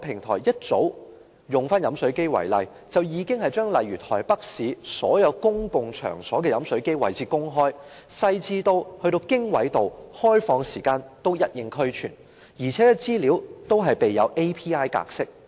同樣以飲水機為例，台灣早已將例如台北市所有公共場所的飲水機位置公開，細緻到連經緯度及場所的開放時間也一應俱全，而且資料均備有 API 格式。